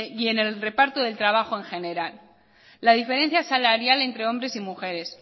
y en el reparto del trabajo en general la diferencia salarial entre hombres y mujeres